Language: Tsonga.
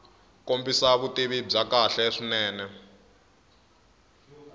kombisa vutivi bya kahle swinene